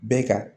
Bɛɛ ka